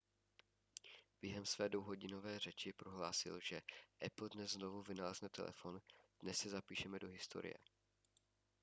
během své dvouhodinové řeči prohlásil že apple dnes znovu vynalezne telefon dnes se zapíšeme do historie